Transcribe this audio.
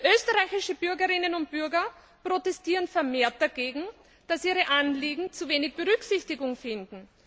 Österreichische Bürgerinnen und Bürger protestieren vermehrt dagegen, dass ihre Anliegen zu wenig Berücksichtigung finden.